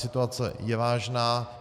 Situace je vážná.